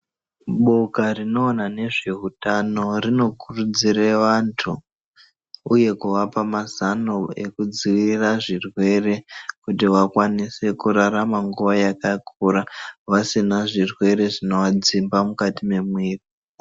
Boka rinoona nezveutano runokurudzire antu, uye kuvapa mazano ekudziviririra zvirwere kuti vakwanise kurarama nguva yakakura vasina zvirwere zvinovadzimba mukati memwiri.